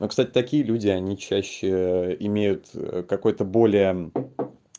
а кстати такие люди они чаще имеют какой-то более